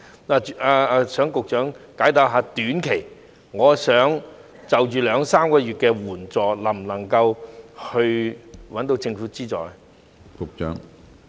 我想局長解答一下，如果只是短期兩三個月的需要，能否得到政府援助？